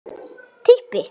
Ég held ekki neitt.